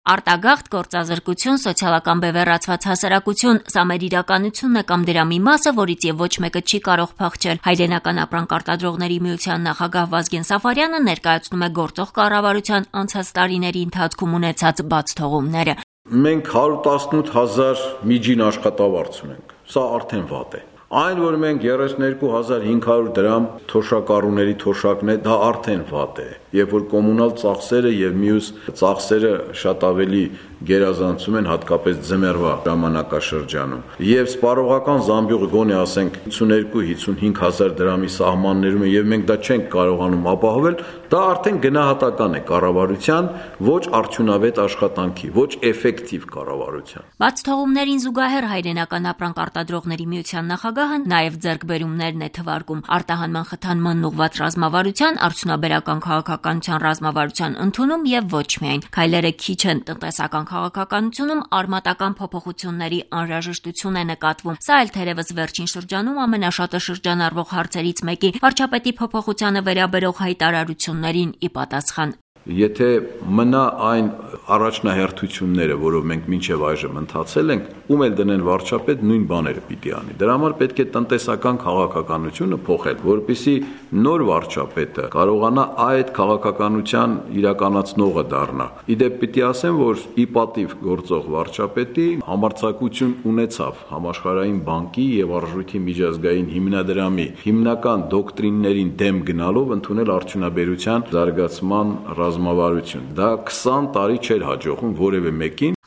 Արտագաղթ, գործազրկություն, սոցիալական բևեռացված հասարակություն, սա մեր իրականությունն է կամ դրա մի մասը, որից և ոչ մեկը չի կարող փախչել: Հայրենական ապրանք արտադրողների միության նախագահ Վազգեն Սաֆարյանը ներկայացնում է գործող կառավարության անցած տարիների ընթացքում ունեցած բաղթողումները. «Այն, որ մենք 118 հազար դրամ միջին աշխատավարձ ունենք, դա արդեն վատ է, այն, որ մենք 32 500 դրամ կենսաթոշակն է և որ կոմունալ ու մյուս ծախսերը գերազանցում են, հատկապես ձմեռվա, դա արդեն վատ է, սպառողական զամբյուղը գոնե ասենք 52 հազար դրամի սահմանենրում է և մենք դա չենք կարողանում ապահովել, դա արդեն գնահատական է կառավարության ոչ արդյունավետ, ոչ Բացթողումներին զուգահեռ Հայրենական ապրանք արրտադրողների միության նախագահը նաև դրականն է թվարկում՝ արտահանման խթանմանն ուղղված ռազմավարության, արդյունաբերական քաղաքականության ռազմավարության ընդունում և ոչ միայն: Քայլերը քիչ են, տնտեսական քաղաքականությունում արմատական փոփոխությունների անհրաժեշտություն է նկատվում: Սա էլ թերևս վերջին շրջանում ամենաշատը շրջանառվող հարցերից մեկի՝ վարչապետի փոփոխությանը վերաբերող հայտարարություններին ի պատասխան: «Եթե մնա այն առաջնահերթությունները, որով մենք մինչև այժմ ընթացել ենք, ում էլ դնենք վարչապետ, նույն բաները պիտի անի, դրա համար, պետք է տնտեսական քաղաքականությունը փոխել, որպեսզի նոր վարչապետը կարողանա այդ քաղաքականության իրականացնողը դառնա: Ի դեպ, պիտի ասեմ, որ ի պատիվ գործող վարչապետի, նա համարձակություն ունեցավ ՀԲ-ի ու ԱՄՀ-ի հիմնական դոկտրիններին դեմ գնալով, ընդունել Արդյունաբերության զարգացման ռազմավարություն, դա 20 տարի չէր հաջողվում որևէ մեկին»: